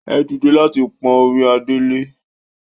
Ẹ dìde láti pọ́n orí adé lé!